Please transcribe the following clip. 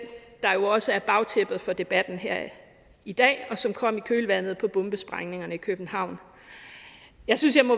der også er bagtæppet for debatten her i dag og som kom i kølvandet på bombesprængningerne i københavn jeg synes jeg må